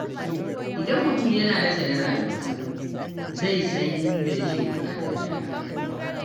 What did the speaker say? Idan mutum yana nazarin rayuwarsa, zai san inda yake buƙatar gyara.